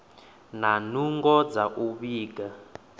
na nungo dza u vhiga